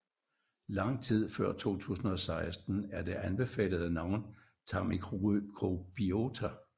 Langt tid før 2016 er det anbefalede navn tarmmikrobiota